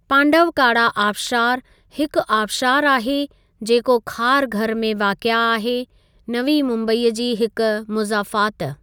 पांडवकाडा आबशारु हिक आबशारु आहे जेको खारघर में वाक़िआ आहे, नवी मुम्बई जी हिक मुज़ाफ़ात।